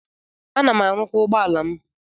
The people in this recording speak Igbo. Ana m arụkwa ụgbọala m.